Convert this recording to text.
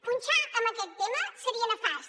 punxar en aquest tema seria nefast